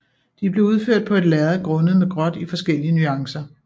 De blev udført på et lærred grundet med gråt i forskellige nuancer